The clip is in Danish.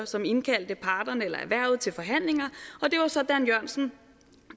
som indkaldte parterne erhvervet til forhandlinger og det var så dan jørgensen